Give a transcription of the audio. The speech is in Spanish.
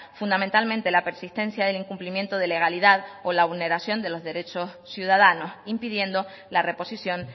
fundamentalmente la persistencia del incumplimiento de legalidad o la vulneración de los derechos ciudadanos impidiendo la reposición